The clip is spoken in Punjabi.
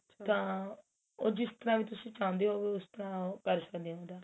ਤਾਂ ਜਿਸ ਤਰਾਂ ਵੀ ਤੁਸੀਂ ਚਾਹੁੰਦੇ ਓ ਉਸਤਰਾਂ ਉਹ ਕਰ ਸਕਦੇ